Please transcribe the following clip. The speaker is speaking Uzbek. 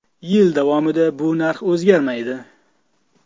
Yil davomida bu narx o‘zgarmaydi.